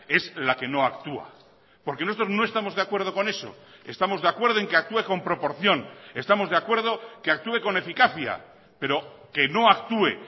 es la que no actúa porque nosotros no estamos de acuerdo con eso estamos de acuerdo en que actúe con proporción estamos de acuerdo que actúe con eficacia pero que no actúe